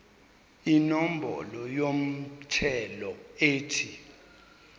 inombolo yomthelo ethi